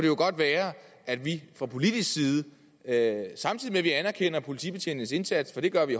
jo godt være at vi fra politisk side sagde samtidig med at vi anerkender politibetjentenes indsats for det gør vi